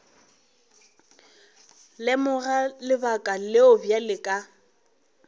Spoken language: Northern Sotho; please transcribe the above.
lemoga lebaka leo bjale ka